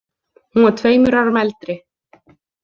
Hún var tveimur árum eldri.